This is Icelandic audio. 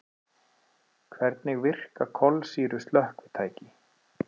Hvernig virka kolsýru slökkvitæki?